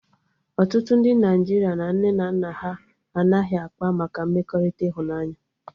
Ọtụtụ ndị Naịjirịa na nne na nna ha anaghị akpa maka mmekọrịta ịhụnanya